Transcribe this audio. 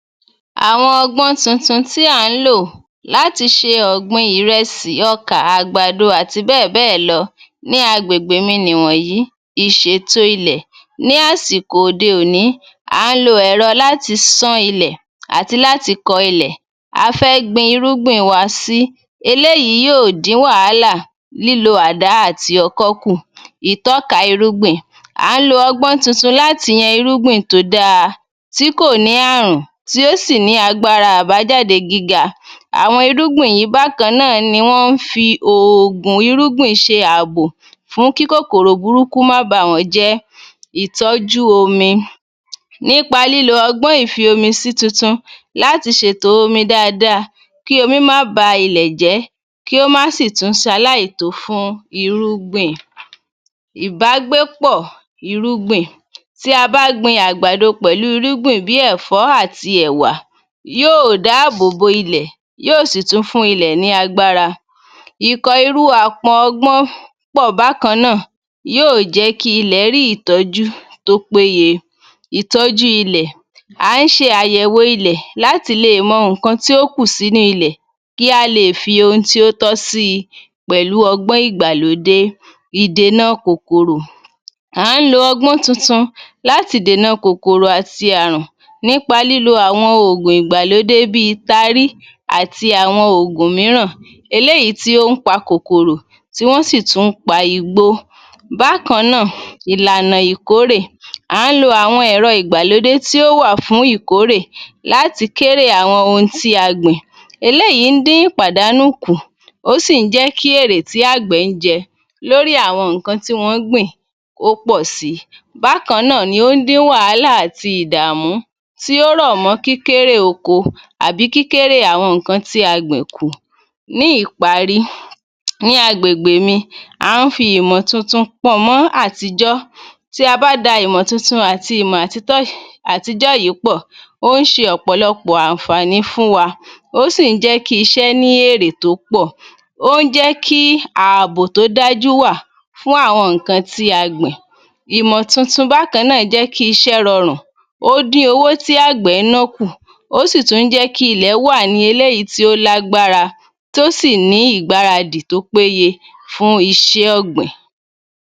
Àwọn ọgbọ́n tuntun tí à ń lò láti ṣe ọ̀gbin ìrẹsì, ọkà, àgbàdo, àti bẹ́ẹ̀bẹ́ẹ̀ lọ ní agbègbè mi ni wọnyìí. Ìṣètò ilẹ̀ ní àsìkò òde-òní à ń lo ẹ̀rọ láti sán ilẹ̀ àti láti kọ ilẹ̀ a fẹ́ gbin irúgbìn wa sí. Eléyìí yóò dín wàhálà lílo àdá àti ọkọ́ kù. Ìtọ́ka irúgbìn À ń lo ọgbọ́n tuntun láti yan irúgbìn tó da tí kò ní àrùn tí ó sì ní agbára àbájáde gíga. Àwọn irúgbìn yìí bákan náà ni wọ́n fi òògùn irúgbìn ṣe àbò fún kíkòkòrò burúkú má báwọn jẹ́. Ìtọ́jú omi Nípa lílo ọgbọ́n ìfi omi sí tuntun láti ṣètò omi dáadáa kí omi má ba ilẹ̀ jẹ́ kí ó má sì tún ṣaláìtó fún irúgbìn. Ìbágbépọ̀ irúgbìn Tí a bá gbin àgbàdo pẹ̀lú irúgbìn bí i ẹ̀fọ́ àti ẹ̀wà yóò dáábòbò ilẹ̀ yóò sì tún fún ilẹ̀ ní agbára. Ìkọ̀ irú àpò ọgbọ́n pọ̀ bákan náà yóò jẹ́kí ilẹ̀ rí ìtọ́jú tó péye. Ìtọ́jú ilẹ̀ À ń ṣe àyẹ̀wọ̀ ilẹ̀ láti leè mọ nǹkan tí ó kù sínú ilẹ̀ kí á lè fi ohun tí ó tọ́ síi pẹ̀lú ọgbọ́n ìgbàlódé. Ìdènà kòkòrò À ń lo ọgbọ́n tuntun láti dènà kòkòrò àti àrùn nípa lílo àwọn ògùn ìgbàlódé bí tarí àti àwọn ogún mìíràn eléyìí tí ó ń pa kòkòrò tí wọ́n sì tún pa igbó. Bákan náà ìlànà ìkórè À ń lo àwọn ẹ̀rọ ìgbàlódé tí ó wà fún ìkórè láti kérè àwọn ohun tí a gbìn. Eléyìí ń dín ìpàdánù kù. Ó sì ǹ jẹ́ kí èrè tí àgbẹ̀ ń jẹ lórí àwọn nǹkan tí wọ́n ń gbìn kó pọ̀ si. Bákan náà ni ó ń dín wàhálà àti ìdàmú tí ó rọ̀ mọ́ kíkérè oko àbí kíkérè àwọn nǹkan tí a gbìn kù. Ní ìparí, ní agbègbè mi, à ń fi ìmọ̀ tuntun pọnmọ́ àtijọ́. Tí a bá da ìmọ̀ tuntun àti ìmọ̀ àtijọ́ yìí pọ̀, ó ń ṣe ọ̀pọ̀lọpọ̀ àǹfààní fún wa. Ó sì ń jẹ́kí iṣẹ́ ní èrè tó pọ̀. Ó ń jẹ́kí àbò tó dájú wà fún àwọn nǹkan tí a gbìn. Ìmọ̀ tuntun bákan náà jẹ́kí iṣẹ́ rọrùn. Ó dín owó tí àgbẹ̀ nọ́ kù. Ó sì tún jẹ́ kí ilẹ̀ wà ní eléyìí tí ó lágbára tó sì ní ìgbáradì tó péye fún iṣẹ́ ọ̀gbìn.